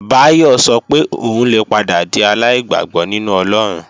Báyọ̀ sọ pé òun lè padà di aláìgbàgbọ́ nínú Ọlọ́run